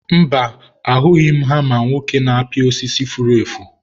mba, ahụghị m hama nwoke na-apị osisi furu efu.